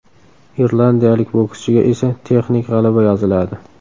Irlandiyalik bokschiga esa texnik g‘alaba yoziladi.